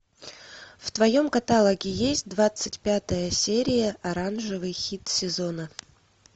в твоем каталоге есть двадцать пятая серия оранжевый хит сезона